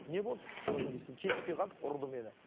не болды қызым десе келіспей қалдық ұрды мені